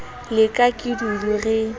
la ka ke dudu re